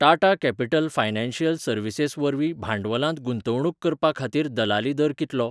Tata Capital Financial Services वरवीं भांडवलांत गुंतवणूक करपा खातीर दलाली दर कितलो?